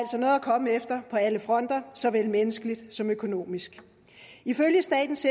komme efter på alle fronter såvel menneskeligt som økonomisk ifølge statens